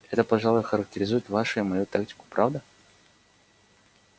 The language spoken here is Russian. это пожалуй характеризует вашу и мою тактику правда